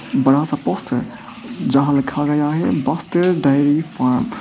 बड़ा सा पोस्टर जहां लिखा गया है बस्तर डेयरी फॉर्म ।